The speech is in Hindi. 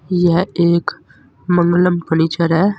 यह एक मंगलम फर्नीचर है।